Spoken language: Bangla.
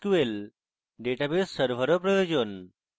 এবং mysql database server ও প্রয়োজন